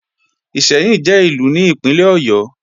Ìṣẹ́yìn jẹ́ Ìlú ní Ìpínlẹ̀ Ọ̀yọ́